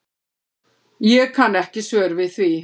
Ég kann ekki svör við því.